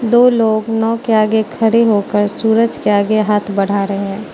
दो लोग नाव के आगे खड़े होकर सूरज के आगे हाथ बढ़ा रहें --